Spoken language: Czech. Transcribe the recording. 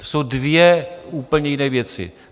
To jsou dvě úplně jiné věci.